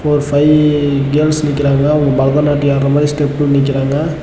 ஒரு five girls நிக்கராங்க அவங்க பரதநாட்டிய ஆட்ர மாதிரி ஸ்டெப்பு நிக்கராங்க.